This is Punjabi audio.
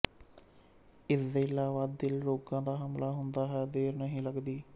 ਇਸਦੇ ਇਲਾਵਾ ਦਿਲ ਰੋਗਾਂ ਦਾ ਹਮਲਾ ਹੁੰਦੇ ਵੀ ਦੇਰ ਨਹੀਂ ਲੱਗਦੀ